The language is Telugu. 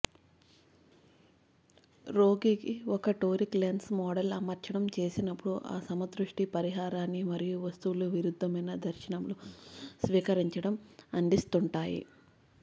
రోగికి ఒక టోరిక్ లెన్స్ మోడల్ అమర్చడం చేసినప్పుడు అసమదృష్టి పరిహారాన్ని మరియు వస్తువులు విరుద్దమైన దర్శనములు స్వీకరించడం అందిస్తుంటాయి